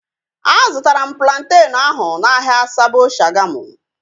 A zụtara m plantenu ahu n'ahia Sabo Shagamu